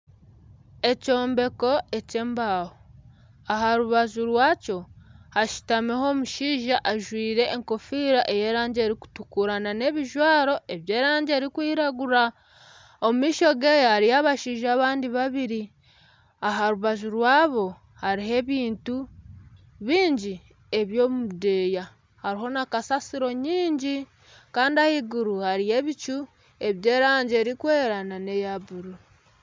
Ekyombeko ekyembaho aha rubaju rwakyo hashutamiho omushaija ajwaire enkofiira ey'erangi erikutukura nana ebijwaro eby'erangi erikwiragura. Omu maisho ge hariyo abashaija abandi babiri aha rubaju rwaabo hariho ebintu bingi biri omu budeeya hariho na kasasiro nyingi kandi ah'aiguru hariyo ebicu eby'erangi erikwera nana eya bururu.